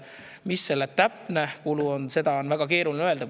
Mis selle täpne kulu on, seda on väga keeruline öelda.